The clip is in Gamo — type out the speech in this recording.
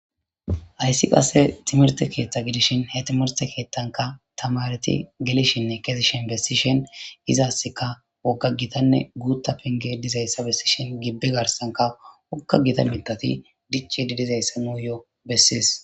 ayssi qasse timirte keeththa gidishin hetimerte keetthanka tamareti gelishinne kesishin bessishen izaasseka wogga gitanne guutta pinge dizayssa bessishin gibbe garsanka wokga gita mitati dichi di dizayssa nuu yoo bessiis